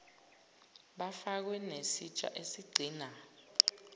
bafakwe nesitsha esigcina